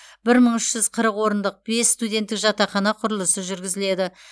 бір мың үш жүз қырық орындық бес студенттік жатақхана құрылысы жүргізіледі